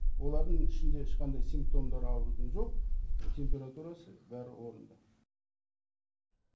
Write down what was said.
олардың ішінде ешқандай симптомдары аурудың жоқ температурасы бәрі орынды